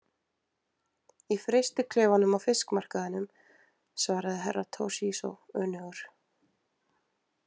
Í frystiklefanum á fiskmarkaðinum, svaraði Herra Toshizo önugur.